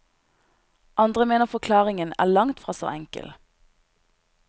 Andre mener forklaringen er langtfra så enkel.